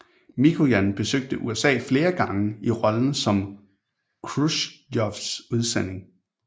Mikojan besøgte USA flere gange i rollen som Khrusjtjovs udsending